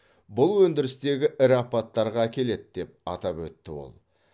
бұл өндірістегі ірі апаттарға әкеледі деп атап өтті ол